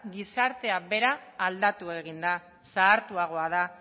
gizarte bera aldatu eginda da zahartuagoa da